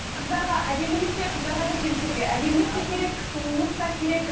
қыздарға әдемілік те қыздарға да жігіттерге де әдемілік те керек сұлулық та керек